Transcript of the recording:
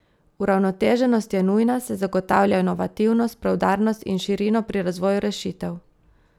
Uravnoteženost je nujna, saj zagotavlja inovativnost, preudarnost in širino pri razvoju rešitev.